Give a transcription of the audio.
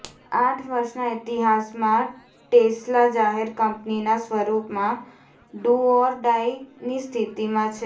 આઠ વર્ષનાં ઇતિહાસમાં ટેસ્લા જાહેર કંપનીનાં સ્વરૂપમાં ડૂ ઓર ડાઇ ની સ્થિતીમાં છે